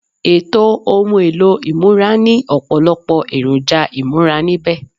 Ètò ohun èlò ìmúra ní ọ̀pọ̀lọpọ̀ èròjà ìmúra níbẹ̀